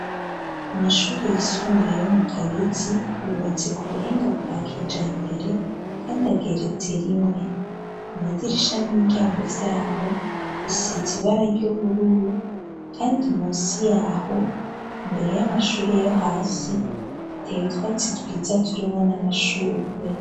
Amashuri yisumbuye yo mu Kabezi, yubatse ku buhinga bwa kijambere, kandi ageretse rimwe. Amadirisha n'imiryango vya ho, bisize ibara ry'ubururu, kandi munsi ya ho, imbere y'amashure yo hasi, hateye utwatsi twiza turimwo n'amashurwe.